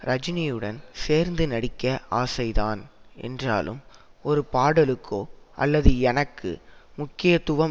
ரஜினியுடன் சேர்ந்து நடிக்க ஆசைதான் என்றாலும் ஒரு பாடலுக்கோ அல்லது எனக்கு முக்கியத்துவம்